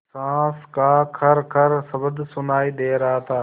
साँस का खरखर शब्द सुनाई दे रहा था